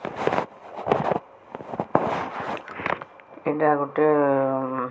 ଏଇଟା ଗୋଟେ ଏ ଏ ଉଁ --